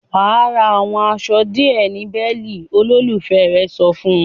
"Wà á ra àwọn aṣọ díẹ̀ ní Berlin!" Olólùfẹ́ rẹ̀ sọ fún un.